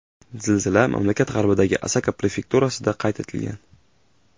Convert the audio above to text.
Zilzila mamlakat g‘arbidagi Osaka prefekturasida qayd etilgan.